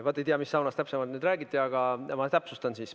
Vaat ei tea, mis saunas täpsemalt räägiti, aga ma täpsustan.